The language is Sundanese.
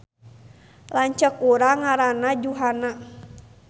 Lanceuk urang ngaranna Juhana